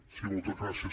sí moltes gràcies